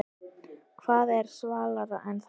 Hvað er svalara en það?